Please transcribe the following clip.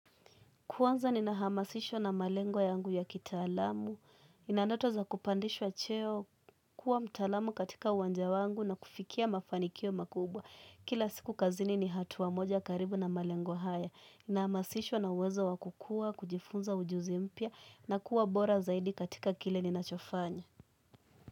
Kuanza ninahamasishwa na malengo yangu ya kitaalamu. Nina ndoto za kupandishwa cheo kuwa mtaalamu katika uwanja wangu na kufikia mafanikio makubwa. Kila siku kazini ni hatua moja karibu na malengo haya. Ninahamasishwa na uwezo wa kukua, kujifunza ujuzi mpya na kuwa bora zaidi katika kile ninachofanya.